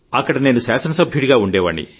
అక్కడ శాసన సభ్యుడిగా ఉండేవాణ్ని